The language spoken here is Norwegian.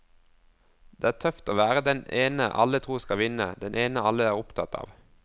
Det er tøft å være den ene alle tror skal vinne, den ene alle er opptatt av.